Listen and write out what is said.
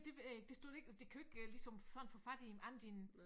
Det ved jeg ikke det stod der ik altså de kan jo ikke ligesom sådan få fat i andet end